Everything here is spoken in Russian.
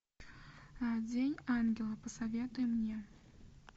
день ангела посоветуй мне